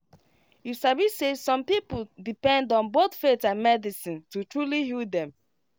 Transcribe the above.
you sabi say some people depend on both faith and medicine to truly heal them